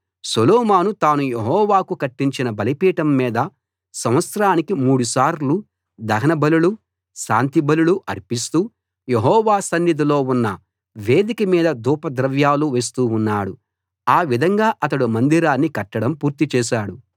సొలొమోను తాను యెహోవాకు కట్టించిన బలిపీఠం మీద సంవత్సరానికి మూడుసార్లు దహనబలులు శాంతి బలులు అర్పిస్తూ యెహోవా సన్నిధిలో ఉన్న వేదిక మీద ధూపద్రవ్యాలు వేస్తూ ఉన్నాడు ఆ విధంగా అతడు మందిరాన్ని కట్టడం పూర్తి చేశాడు